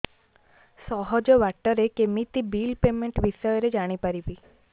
ସହଜ ବାଟ ରେ କେମିତି ବିଲ୍ ପେମେଣ୍ଟ ବିଷୟ ରେ ଜାଣି ପାରିବି